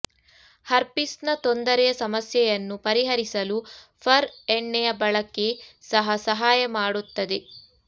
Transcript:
ಹರ್ಪಿಸ್ನ ತೊಂದರೆಯ ಸಮಸ್ಯೆಯನ್ನು ಪರಿಹರಿಸಲು ಫರ್ ಎಣ್ಣೆಯ ಬಳಕೆ ಸಹ ಸಹಾಯ ಮಾಡುತ್ತದೆ